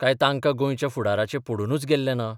काय तांकां गोंयच्या फुडाराचें पडूनच गेल्लें ना?